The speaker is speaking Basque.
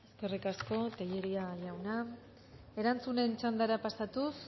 eskerrik asko tellería jauna erantzunen txandara pasatuz